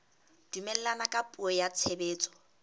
dumellana ka puo ya tshebetso